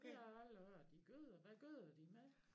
Det har jeg aldrig hørt de gøder hvad gøder de med?